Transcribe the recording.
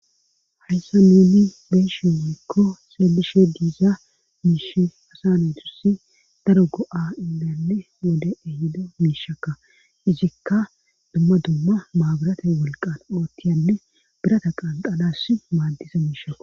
hayssa nuni beeshe hozikko seelishe diiza miishe hasanedzussi daro go7a illanne wode ehido miishakka hizikka dumma dumma maaburata wolqan oottiyanne birata qalqadass maaddisa miishakka